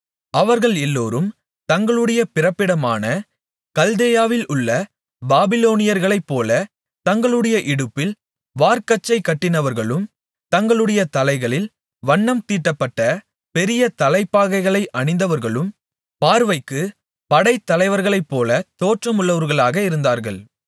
அவர்கள் எல்லோரும் தங்களுடைய பிறப்பிடமான கல்தேயாவில் உள்ள பாபிலோனியர்களைப் போல தங்களுடைய இடுப்பில் வார்க்கச்சை கட்டினவர்களும் தங்களுடைய தலைகளில் வண்ணம் தீட்டப்பட்ட பெரிய தலைப்பாகைகளை அணிந்தவர்களும் பார்வைக்கு படைத்தலைவர்களைப்போல தோற்றமுள்ளவர்களாக இருந்தார்கள்